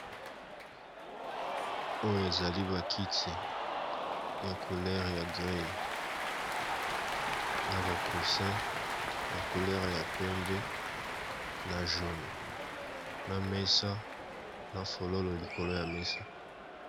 Oyo ezali bakiti ya couler ya grey na ba coussin ya couler ya pembe na jaune na mesa na fololo likolo ya mesa